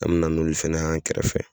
An me na n 'olu fɛnɛ y'an kɛrɛfɛ